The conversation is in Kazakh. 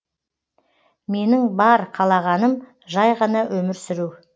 менің бар қалағаным жай ғана өмір сүру